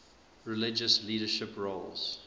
religious leadership roles